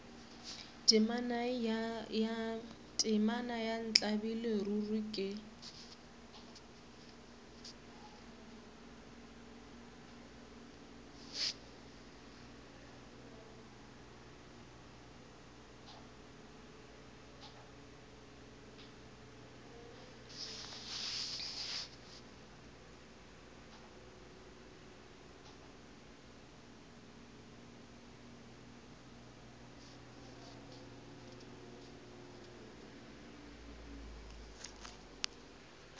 temana ya ntlabile ruri ke